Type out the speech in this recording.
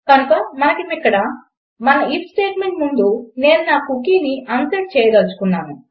కనుక మనమిక్కడ అందాము మన ఐఎఫ్ స్టేట్మెంట్ ముందు నేను నా కుకీని అన్సెట్ చేయదలచుకున్నాను